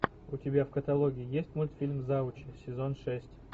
у тебя в каталоге есть мультфильм завучи сезон шесть